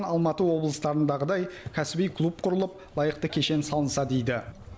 алматы облыстарындағыдай кәсіби клуб құрылып лайықты кешен салынса дейді